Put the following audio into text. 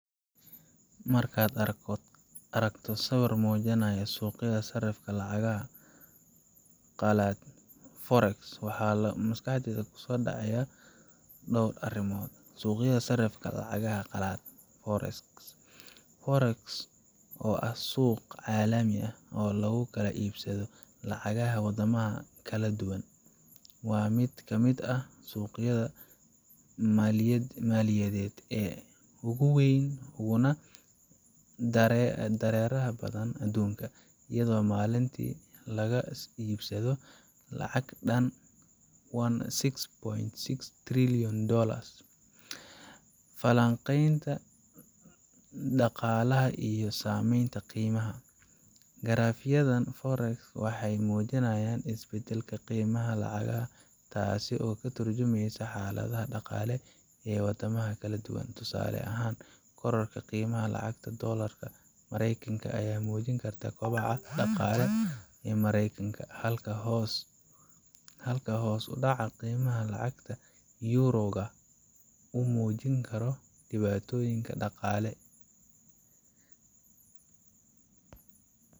Markaad aragto sawir muujinaya suuqyada sarifka lacagaha qalaad [c]sfore, waxaa maskaxdaada ku soo dhici kara dhowr arrimood muhiim ah: 1. Suuqa Sarifka Lacagaha Qalaad fore fore, oo ah suuq caalami ah oo lagu kala iibsado lacagaha waddamada kala duwan, waa mid ka mid ah suuqyada maaliyadeed ee ugu weyn uguna dareeraha badan adduunka, iyadoo maalintii lagu kala iibsado lacag dhan six point si trillion dollars Falanqaynta Dhaqaalaha iyo Saameynta Qiimaha Lacagaha Garaafyada fore ka waxay muujinayaan isbeddelada qiimaha lacagaha, taasoo ka tarjumaysa xaaladaha dhaqaale ee waddamada kala duwan. Tusaale ahaan, kororka qiimaha lacagta doolarka Maraykanka ayaa muujin kara kobaca dhaqaalaha Maraykanka, halka hoos u dhaca qiimaha lacagta euro ga uu muujin karo dhibaatooyin dhaqaale